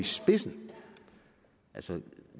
spidsen altså